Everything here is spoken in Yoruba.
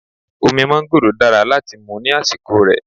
Omi mángóròò dára láti mú ní àsìkò rè.